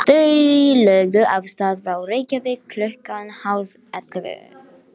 Þau lögðu af stað frá Reykjavík klukkan hálfellefu.